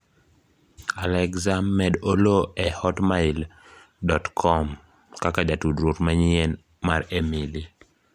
Alexa med Oloo e hotmail dot kom kaka jatudruok manyien mar Emily